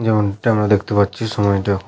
যেমনটা আমরা দেখতে পাচ্ছি সময়টি এখন --